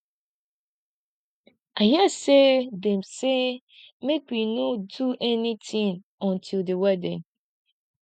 i hear say dem say make we no do anything until the wedding